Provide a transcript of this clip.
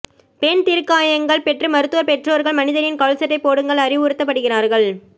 பெண் தீக்காயங்கள் பெற்று மருத்துவர் பெற்றோர்கள் மனிதனின் கால்சட்டை போடுங்கள் அறிவுறுத்தப்படுகிறார்கள்